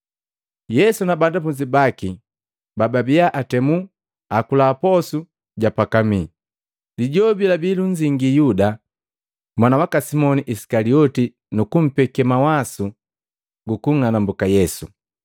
Yesu na banafunzi baki pababia atemi akula posu ja pakamii. Lijobi labi lunzingi Yuda, mwana waka Simoni Isikalioti nukupeke mawasu gu kunng'anambuka Yesu.